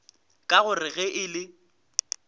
ka gore ge e le